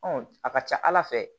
Ɔn a ka ca ala fɛ